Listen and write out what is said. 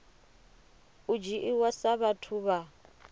u dzhiiwa sa vhathu vha